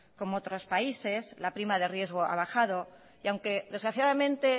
como otros países la prima de riesgo ha bajado y aunque desgraciadamente